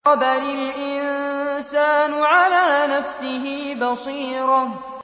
بَلِ الْإِنسَانُ عَلَىٰ نَفْسِهِ بَصِيرَةٌ